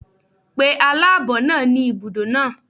Pe aláàbọ̀ náà ni ibùdó náà.